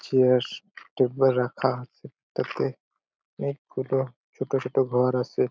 Chairs table এ রাখা তাতে অনকে গুলো ছোট ছোট ঘর আছে ।